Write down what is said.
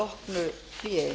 að loknu hléi